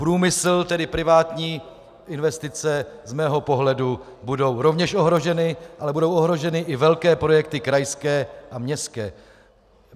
Průmysl, tedy privátní investice z mého pohledu budou rovněž ohroženy, ale budou ohroženy i velké projekty krajské a městské.